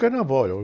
Carnaval, é o...